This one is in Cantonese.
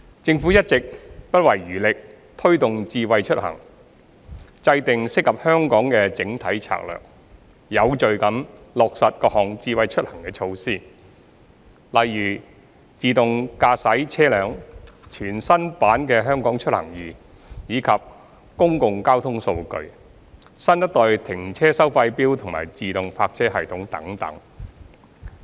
政府一直不遺餘力推動"智慧出行"，制訂適合香港的整體策略，有序地落實各項"智慧出行"措施，例如自動駕駛車輛、全新版"香港出行易"、公共交通數據、新一代停車收費錶及自動泊車系統等。